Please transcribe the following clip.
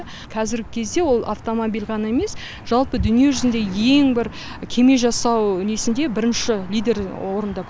қазіргі кезде ол автомобиль ғана емес жалпы дүние жүзінде ең бір кеме жасау несінде бірінші лидер орында